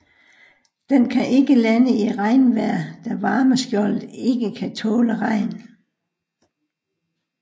Den kan ikke lande i regnvejr da varmeskjoldet ikke kan tåle regn